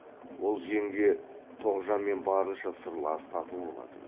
ол жеңге тоғжанмен барынша сырлас тату болатын